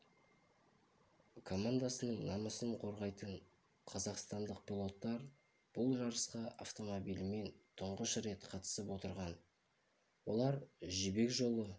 командасының намысын қорғайтын қазақстандық пилоттар бұл жарысқа автомобилімен қатысты тұңғыш рет қатысып отырған олар жібек жолы